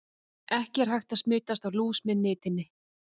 Ekki er hægt að smitast af lús með nitinni.